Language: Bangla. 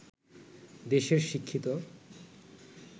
দেশের শিক্ষিত